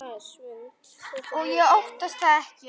Og ég óttast það ekki.